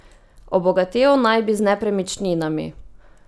Obogatel naj bi z nepremičninami.